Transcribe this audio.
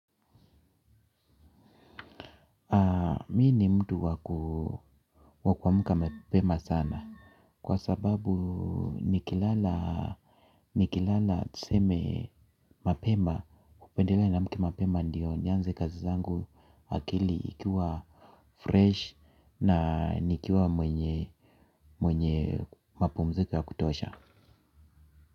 Mi ni mtu waku wa kuamka mapema sana. Kwa sababu nikilala nikilala tuseme mapema hupendelea niamke mapema ndiyo nianze kazi zangu akili ikiwa fresh na nikiwa mwenye mwenye mapumziko ya kutosha.